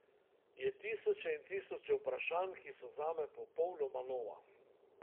Je tisoče in tisoče vprašanj, ki so zame popolnoma nova.